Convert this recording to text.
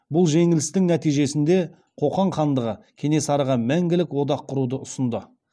бұл жеңілістің нәтижесінде қоқан хандығы кенесарыға мәңгілік одақ құруды ұсынды